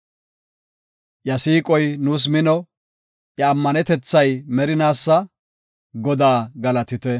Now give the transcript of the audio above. Iya siiqoy nuus mino; iya ammanetethay merinaasa. Godaa galatite.